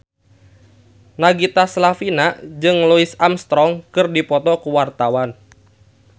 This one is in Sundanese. Nagita Slavina jeung Louis Armstrong keur dipoto ku wartawan